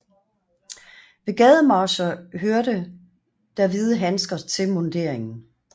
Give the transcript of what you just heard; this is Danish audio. Ved gademarcher hørte der hvide handsker til munderingen